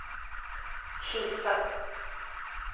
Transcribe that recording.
Kisa